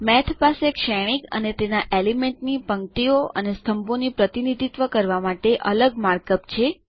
મેઠ પાસે શ્રેણીક અને તેના એલિમેન્ટની પંક્તિઓ અને સ્તંભોનું પ્રતિનિધિત્વ કરવા માટે અલગ માર્કઅપ છે